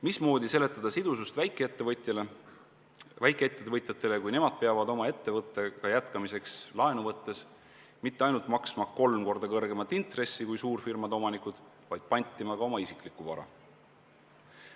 Mismoodi seletada sidusust väikeettevõtjatele, kui nemad peavad oma ettevõttega jätkamiseks laenu võttes mitte ainult maksma kolm korda kõrgemat intressi kui suurfirmade omanikud, vaid pantima ka oma isikliku vara?